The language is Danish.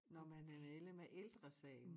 Når man er medlem af ældresagen